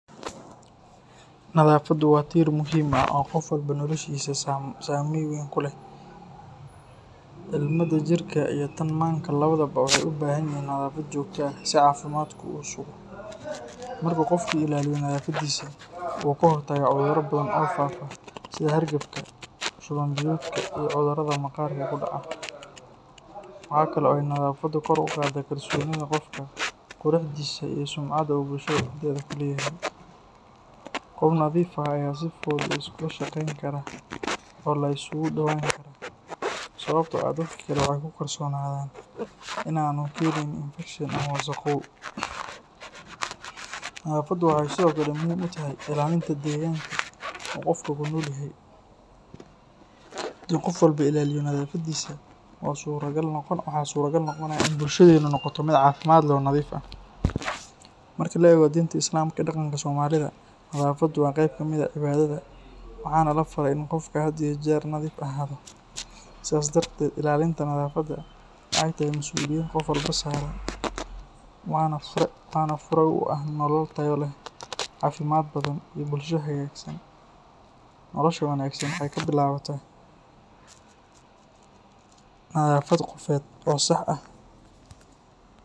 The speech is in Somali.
Nadaafaddu waa tiir muhiim ah oo qof walba noloshiisa saameyn weyn ku leh. Ilmada jirka iyo tan maanka labadaba waxay u baahanyihiin nadaafad joogto ah si caafimaadku u sugo. Marka qofku ilaaliyo nadaafadiisa, wuu ka hortagaa cudurro badan oo faafa sida hargabka, shuban-biyoodka, iyo cudurrada maqaarka ku dhaca. Waxa kale oo ay nadaafaddu kor u qaadaa kalsoonida qofka, quruxdiisa, iyo sumcadda uu bulshada dhexdeeda ku leeyahay. Qof nadiif ah ayaa si fudud la iskula shaqeyn karaa oo la isugu dhowaan karaa, sababtoo ah dadka kale waxay ku kalsoonaadaan in aanu keenayn infekshan ama wasakhow. Nadaafaddu waxay sidoo kale muhiim u tahay ilaalinta deegaanka uu qofku ku nool yahay. Haddii qof walba ilaaliyo nadaafadiisa, waxaa suuragal noqonaya in bulshadeenu noqoto mid caafimaad leh oo nadiif ah. Marka la eego diinta Islaamka iyo dhaqanka Soomaalida, nadaafaddu waa qayb ka mid ah cibaadada, waxaana la faray in qofka had iyo jeer nadiif ahaado. Sidaas darteed, ilaalinta nadaafadda waxay tahay mas’uuliyad qof walba saaran, waana fure u ah nolol tayo leh, caafimaad badan, iyo bulsho hagaagsan. Nolosha wanaagsan waxay ka bilaabataa nadaafad qofeed oo sax ah.